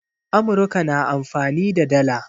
Amurka na amfani da dala